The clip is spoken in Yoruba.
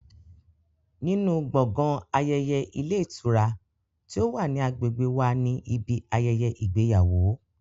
Nínú gbọ̀ngàn ayẹyẹ ilé ìtura ti ó wà ní agbègbè wa ni ibi ayẹyẹ ìgbéyàwó